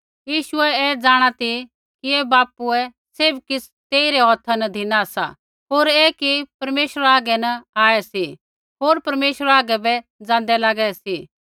यीशुऐ ऐ जाँणा ती कि बापुए सैभ किछ़ तेइरै हौथा न धिना सा होर ऐ कि परमेश्वर हागै न आऐ सी होर परमेश्वरा हागै बै जाँदै लागै सी